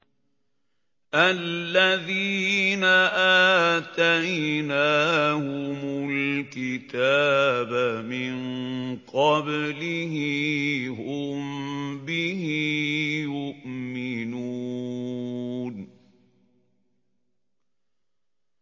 الَّذِينَ آتَيْنَاهُمُ الْكِتَابَ مِن قَبْلِهِ هُم بِهِ يُؤْمِنُونَ